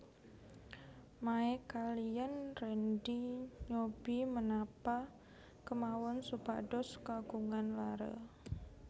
Mae kaliyan Rendy nyobi menapa kemawon supados kagungan laré